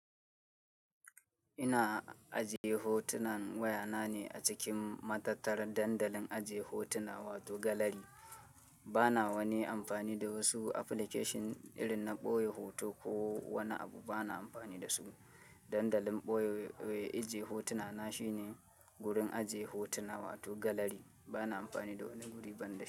Ina aje hotunan waya na ne a cikin matattar dandalin aje hotuna wato gallery bana wani amfani da wasu application irin na ɓoye hoto ko wani abu bana amfani da su. Dandalin ɓoye aje hotuna na shine gurin aje hotuna wato galari. Bana amfani da wani guri ban da shi.